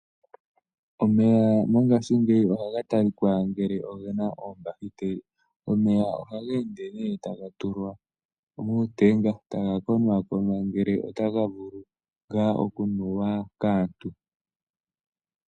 Omeya mongashingeyi ohaga talika ngele ogena oombahiteli. Omeya ohaga ende ne taga tulwa muutenga, taga konakonwa ngele otaga vulu nga oku nuwa kaantu.